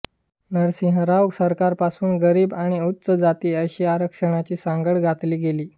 नरसिंह राव सरकारपासून गरीब आणि उच्च जाती अशी आरक्षणाची सांगड घातली गेली